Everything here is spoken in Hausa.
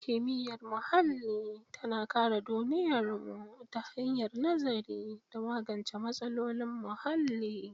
Kimiyyar muhalli tana kare duniyarmu ta hanyar nazari da magance matsalolin muhalli.